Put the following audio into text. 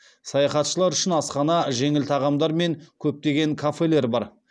саяхатшылар үшін асхана жеңіл тағамдар мен көптеген кафелер бар